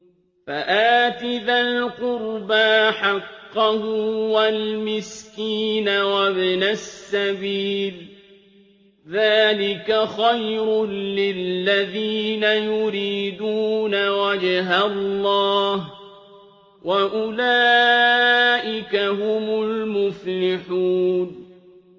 فَآتِ ذَا الْقُرْبَىٰ حَقَّهُ وَالْمِسْكِينَ وَابْنَ السَّبِيلِ ۚ ذَٰلِكَ خَيْرٌ لِّلَّذِينَ يُرِيدُونَ وَجْهَ اللَّهِ ۖ وَأُولَٰئِكَ هُمُ الْمُفْلِحُونَ